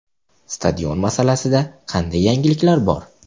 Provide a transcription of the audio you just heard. Stadion masalasida qanday yangiliklar bor?